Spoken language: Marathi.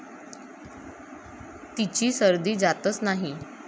तिची सर्दी जातच नाही.